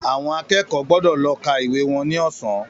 Àwọn akẹ́kọ̀ọ́ gbọ́dọ̀ lọ ká ìwé wọn ní ọ̀sán